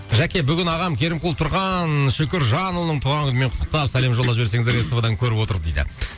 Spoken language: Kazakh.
жәке бүгін ағам керімқұл тұрған шүкіржанұлының туған күнімен құттықтап сәлем жолдап жіберсеңіздер ств дан көріп отыр дейді